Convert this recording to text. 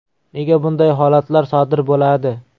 Nega bunday holatlar sodir bo‘ladi?